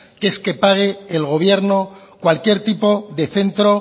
que es que pague el gobierno cualquier tipo de centro